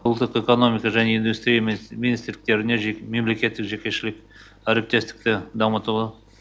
ұлттық экономика және индустрия министрліктеріне мемлекеттік жекешілік әріптестікті дамытуға